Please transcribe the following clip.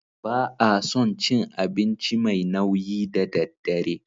Ba a son cin abinci mai nauyi da daddare.